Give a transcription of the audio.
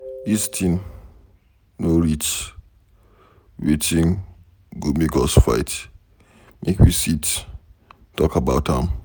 Dis thing no reach wetin go make us fight, make we sit talk about am.